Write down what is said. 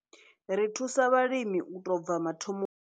Ri thusa vhalimi u tou bva mathomoni.